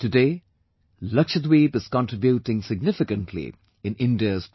Today, Lakshadweep is contributing significantly in India's progress